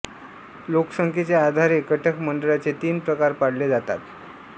लोकसंख्येच्या आधारे कटक मंडळाचे तीन प्रकार पाडले जातात